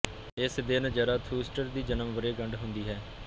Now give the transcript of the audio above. ਇਸ ਦਿਨ ਜ਼ਰਾਥੂਸਟਰ ਦੀ ਜਨਮ ਵਰ੍ਹੇ ਗੰਢ ਹੁੰਦੀ ਹੈ